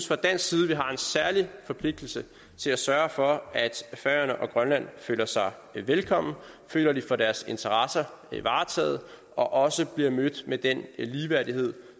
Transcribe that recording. fra dansk side har en særlig forpligtelse til at sørge for at færøerne og grønland føler sig velkomne føler at de får deres interesser varetaget og også bliver mødt med den ligeværdighed